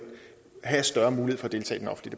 del